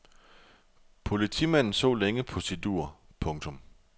Politimanden så længe på sit ur. punktum